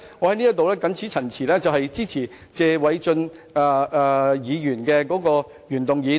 我謹此陳辭，支持謝偉俊議員的原議案。